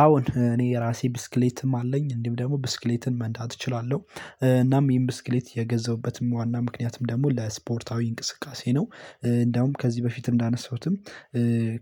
አሁን እኔ ራሴ ብስክሌትም አለኝ እንዲሁም ደግሞ ብስክሌትን መንዳት እችላለው እናም ይሄን ብስክሌት የገዘሁበትም ዋና ምክንያትም ደግሞ ለስፖርታዊ እንቅስቃሴ ነው። እንደውም ከዚህ በፊት እንዳነሳሁትም